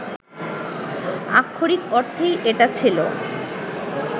আক্ষরিক অর্থেই এটা ছিল